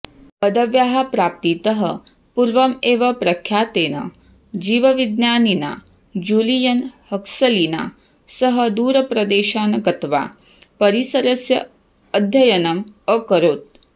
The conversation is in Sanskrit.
पदव्याः प्राप्तितः पूर्वम् एव प्रख्यातेन जीवविज्ञानिना जूलियन् हक्सलिना सह दूरप्रदेशान् गत्वा परिसरस्य अध्ययनम् अकरोत्